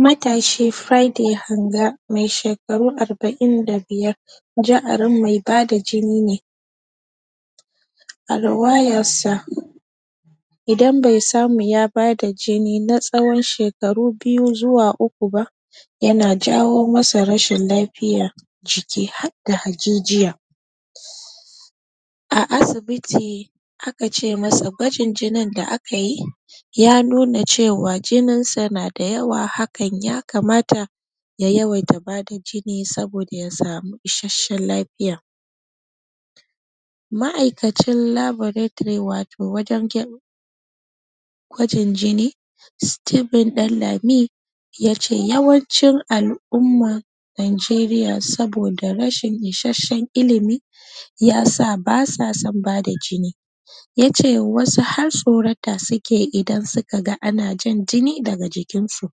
Matashi Micheal Hanga me shekaru arba'in da biyar ja'arin mai bada jini ne a ruwayarsa idan be samu bada jini na tsawon shekaru biyu zuwz uku ba yana jawo masa rashin lafiya ciki har da hajijiya um a kace masa gwajin jinin da akayi ya nuna cewa jinin sa nada yawa hakan ya kamata ya yawai ta bada jini saboda yasamu isashshen lafiya ma'akacin laboratory wato wajen gay gwajin jini steven Danlami yace yawan cin al-umma nigeriya saboda rashin isashshen ilimi yasa basa son bada jini yace wasu har tsorata suke idan suka ga ana jan jini daga jikinsu um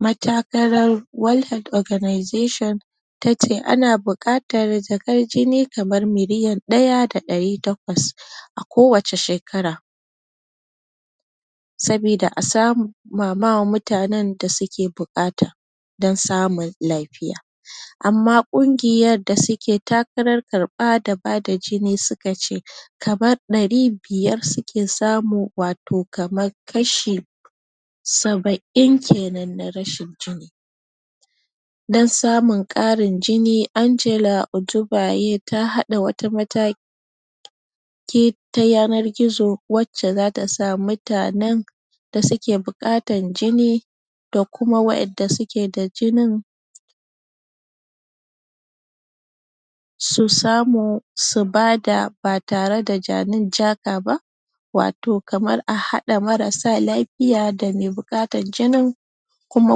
matakalan wannan oganization ita ce ana bukatar jakar jini kamar miliyan daya da dari takwas um a kowace shekara sabida a sama ma mutanen dasuke bukata don samun lafiya um amma kungiyar da suke takarar karba da bada jini suka ce kamar dari biyar suke samu wato kamar kashi saba'in kenan na rashin jini don samun karin jini Angela otubaye ta hada wata mata ki ta yana gizo wacce zata sa mutanen da suke bukatar jini da kuma wadanda suke da jinin susamu subada ba tare da jani in jaka ba wato kamar a hada marasa lafiya lafiya da me bukatar jinin kuma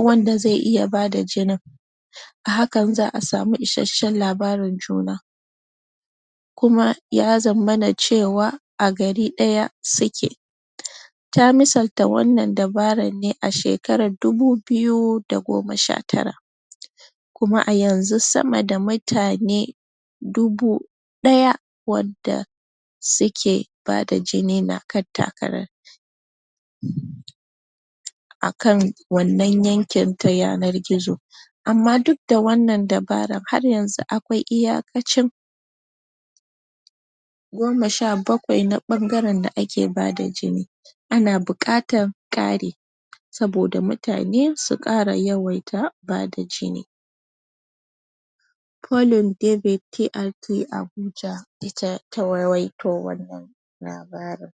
wanda ze iya bada jinin a hakan za'a samu isashshen labarin juna kuma yazamana cewa a gari daya suke um ta misal ta wannan dabarar ne a shekarar dubu biyu da goma shatara um kuma a yanzu sama da mutane dubu daya wanda suke bada jini na kan takarar um um akan wannan yankin ta yanar gizo amma duk da wannan dabarar har yanzu akwai iyakacin goma sha bakwai na bangaren da ake bada jini ana bukatar kari saboda mutane su kara yawaita bada jini paulin david KRD Abuja ita ta ruwaito wannan labarin